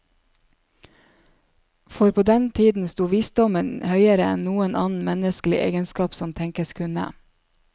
For på den tiden sto visdommen høyere enn noen annen menneskelig egenskap som tenkes kunne.